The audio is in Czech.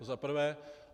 To za prvé.